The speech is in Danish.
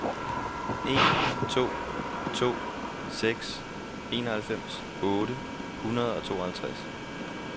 en to to seks enoghalvfems otte hundrede og tooghalvtreds